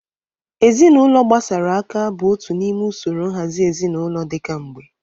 Ezinaụlọ gbasara aka bụ otu n'ime usoro nhazi ezinụlọ dị ka mgbe.